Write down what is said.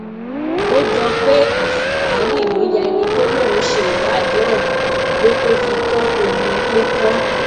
ó jọ pé asítáàní ló ya ẹni tó lóun ṣe ìwádìí ọhún ló tó fi kọ ohun tó kọ